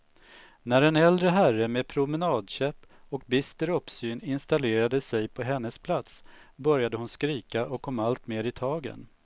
När en äldre herre med promenadkäpp och bister uppsyn installerade sig på hennes plats, började hon skrika och kom alltmer i tagen.